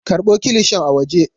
Karɓo kilishin a waje.